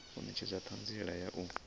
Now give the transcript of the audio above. u netshedza thanziela ya u